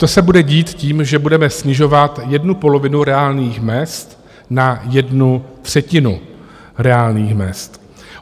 To se bude dít tím, že budeme snižovat jednu polovinu reálných mezd na jednu třetinu reálných mezd.